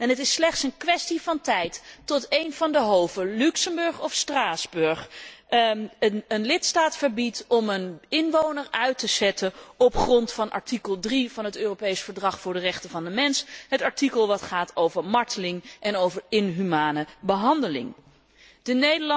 het is slechts een kwestie van tijd totdat een van de hoven, Luxemburg of Straatsburg, een lidstaat verbiedt om een inwoner uit te zetten op grond van artikel 3 van het Europees Verdrag voor de rechten van de mens, het artikel dat over marteling en inhumane behandeling gaat.